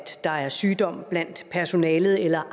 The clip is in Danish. der er sygdom blandt personalet eller